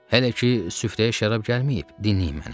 Hələ ki süfrəyə şərab gəlməyib, dinləyin məni.